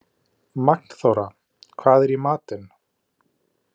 Magnþóra, hvað er í matinn?